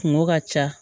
Kungo ka ca